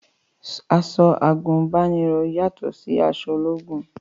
Aṣọ àgùnbánirọ̀ yàtọ̀ sí aṣọ ológun